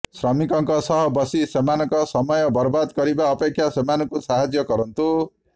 ଶ୍ରମିକଙ୍କ ସହ ବସି ସେମାନଙ୍କ ସମୟ ବର୍ବାଦ କରିବା ଅପେକ୍ଷା ସେମାନଙ୍କୁ ସାହାଯ୍ୟ କରନ୍ତୁ